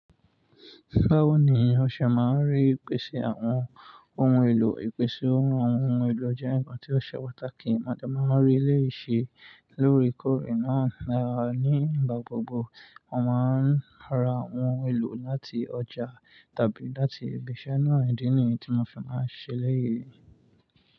Báwo ni ìyán ṣẹ máa ń rí ìpèsè àwọn ohun èlò? Ìpèsè ohun èlò jẹ́ ǹkan tí ó ṣe pàtàkì. Mo dẹ̀ mań rí eleyii ṣẹ lóre kórè náà. Ní ìgbà gbogbo, wọ́n máa ń ra àwọn ohun èlò láti ọjà tàbí láti ibi iṣẹ́ náà. Idi ní yi ti mo fi máa ṣẹ ẹlẹyìí.